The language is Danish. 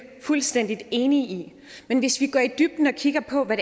fuldstændig enige i men hvis vi går i dybden og kigger på hvad